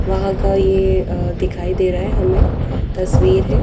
वहां का ये दिखाई दे रहा है हमे तस्वीर है।